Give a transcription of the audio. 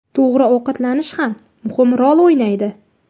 To‘g‘ri ovqatlanish ham muhim rol o‘ynaydi.